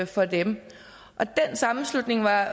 for dem og den sammenslutning var